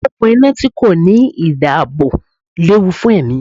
Okùn iná tí kò ní ìdáàbò léwu fún ẹ̀mí.